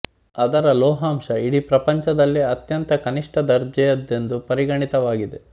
ಅದರ ಲೋಹಾಂಶ ಇಡೀ ಪ್ರಪಂಚದಲ್ಲೇ ಅತ್ಯಂತ ಕನಿಷ್ಠ ದರ್ಜೆಯದೆಂದು ಪರಿಗಣಿತವಾಗಿದೆ